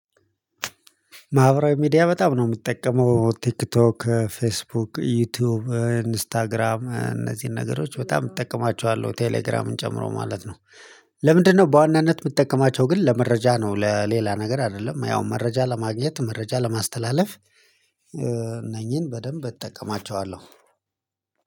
ማህበራዊ ሚዲያ በጣም ነው የሚጠቀመው ቲክቶክ ፌስቡክ ዩቲዩብ ኢንስታግራም እነዚህን ነገሮች በጣም እጠቀማቸዋለሁ ቴሌግራምን ጨምሮ ማለት ነው። ለምንድነው በዋናነት የምጠቀማቸው ግን ለመረጃ ነው ለሌላ ነገር አይደለም። ያው መረጃ ለማግኘት መረጃ ለማስተላለፍ። እነኚህን በደንብ እጠቀማቸዋለሁ።